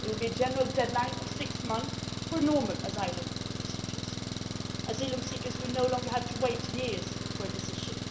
There will be a general deadline of six months for normal asylum procedures. Asylum seekers will no longer have to wait years for a decision.